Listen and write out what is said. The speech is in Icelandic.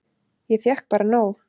Ég fékk bara nóg.